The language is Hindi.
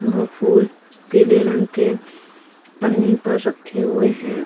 वह फूल पीले रंग के पन्नी पे रखे हुए है।